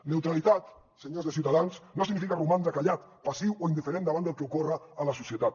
neutralitat senyors de ciutadans no significa romandre callat passiu o indiferent davant del que ocorre a la societat